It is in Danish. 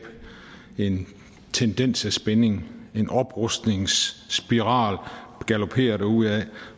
en tendens til spænding en oprustningsspiral der galopperer derudad